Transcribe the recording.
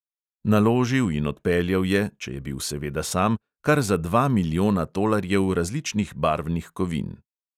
Naložil in odpeljal je, če je bil seveda sam, kar za dva milijona tolarjev različnih barvnih kovin.